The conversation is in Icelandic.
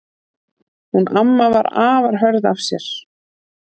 Hún amma var afar hörð af sér.